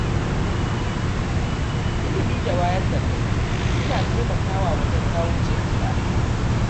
Ilimi da wayar da kai suna taimakawa wajen kawo canji a al’umma.